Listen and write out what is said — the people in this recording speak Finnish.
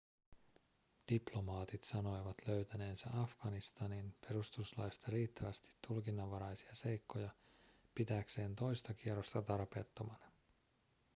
diplomaatit sanoivat löytäneensä afganistanin perustuslaista riittävästi tulkinnanvaraisia seikkoja pitääkseen toista kierrosta tarpeettomana